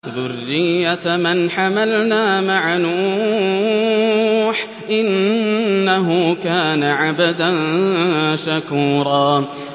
ذُرِّيَّةَ مَنْ حَمَلْنَا مَعَ نُوحٍ ۚ إِنَّهُ كَانَ عَبْدًا شَكُورًا